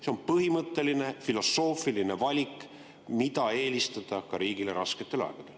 See on põhimõtteline filosoofiline valik, mida eelistada ka riigile rasketel aegadel.